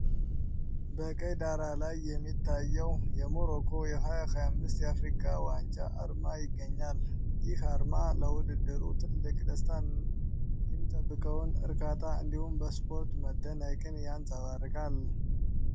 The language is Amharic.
በቀይ ዳራ ላይ የሚታየው የሞሮኮ 2025 የአፍሪካ ዋንጫ አርማ ይገኛል። ይህ አርማ ለውድድሩ ትልቅ ደስታንና የሚጠበቀውን እርካታ እንዲሁም በስፖርት መደነቅን ያንፀባርቃል።